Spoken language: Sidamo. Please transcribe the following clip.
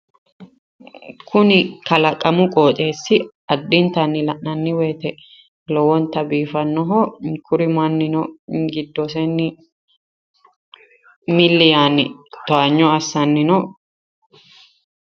kuni kalaqamu qooxeessi addintanni la'nanni woyte lowonta biifannoho kuri mannino giddoseenni milli yaanni towaanyo assanni no.